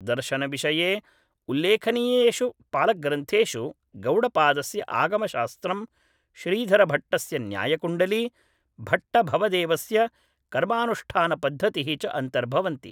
दर्शनविषये उल्लेखनीयेषु पालग्रन्थेषु गौडपादस्य आगमशास्त्रं श्रीधरभट्टस्य न्यायकुण्डली भट्टभवदेवस्य कर्मानुष्ठानपद्धतिः च अन्तर्भवन्ति